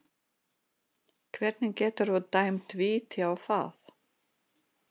Hvernig geturðu dæmt víti á það?